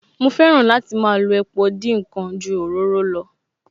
Mo fẹ́ràn láti máa lo epo dín ǹkan ju òróró lọ